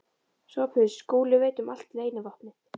SOPHUS: Skúli veit allt um leynivopnið.